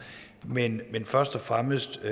men først og fremmest